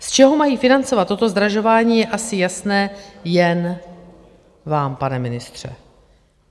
Z čeho mají financovat toto zdražování, je asi jasné jen vám, pane ministře.